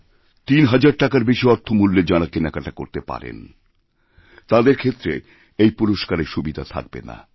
তিন হাজার টাকার বেশি অর্থমূল্যেযাঁরা কেনাকাটা করতে পারেন তাঁদের ক্ষেত্রে এই পুরস্কারের সুবিধা থাকবে না